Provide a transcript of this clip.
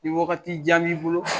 Ke waagati jan b' i bolo